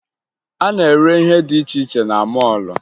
A na-ere ihe dị iche iche na mọọlụ